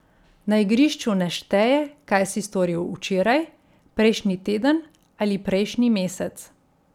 Na igrišču ne šteje, kaj si storil včeraj, prejšnji teden ali prejšnji mesec.